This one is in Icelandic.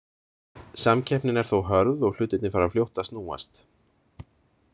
Samkeppnin er þó hörð og hlutirnir fara fljótt að snúast.